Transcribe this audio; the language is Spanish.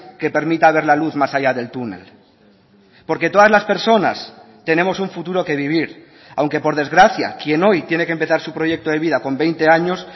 que permita ver la luz más allá del túnel porque todas las personas tenemos un futuro que vivir aunque por desgracia quien hoy tiene que empezar su proyecto de vida con veinte años